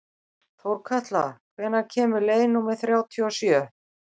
Þórkatla, hvenær kemur leið númer þrjátíu og sjö?